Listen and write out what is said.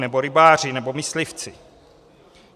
Nebo rybáři, nebo myslivci.